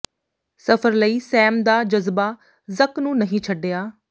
ਸਫ਼ਰ ਲਈ ਸੈਮ ਦਾ ਜਜ਼ਬਾ ਜ਼ਕ ਨੂੰ ਨਹੀਂ ਛੱਡਿਆ